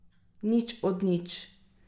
Nič od nič.